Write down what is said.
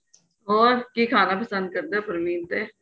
ਹੋਰ ਕਿ ਖਾਣਾ ਪਸੰਦ ਕਰਦੇ ਹੋ ਪਰਵੀਨ ਤੇ